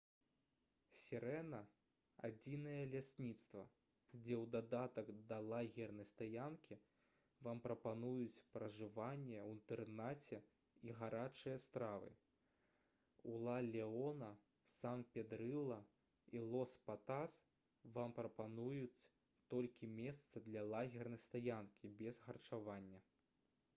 «сірэна» — адзінае лясніцтва дзе ў дадатак да лагернай стаянкі вам прапануюць пражыванне ў інтэрнаце і гарачыя стравы. у ла леона сан педрылла і лос патас вам прапануюць толькі месца для лагернай стаянкі без харчавання